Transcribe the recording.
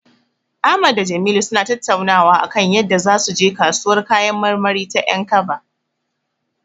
Ahmad da Jamilu suna tattaunawa akan yadda zasu je kasuwar kayan marmari ta 'Yankaba.